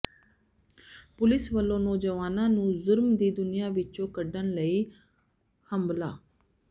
police ਵੱਲੋਂ ਨੌਜਵਾਨਾਂ ਨੂੰ ਜੁਰਮ ਦੀ ਦੁਨੀਆਂ ਵਿੱਚੋਂ ਕੱਢਣ ਲਈ ਹੰਭਲਾ